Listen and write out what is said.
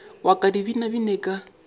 wa ka di binabine ka